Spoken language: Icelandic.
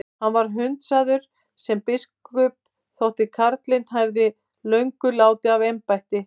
Hann var hundsaður sem biskup þótt karlinn hefði löngu látið af embætti.